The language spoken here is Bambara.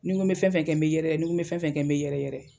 Nin ko bɛ fɛn fɛn kɛ n bɛ yɛrɛyɛrɛ, nin ko bɛ fɛn fɛn kɛ n bɛ yɛrɛyɛrɛ.